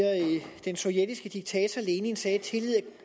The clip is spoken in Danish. den sovjetiske diktator lenin sagde at tillid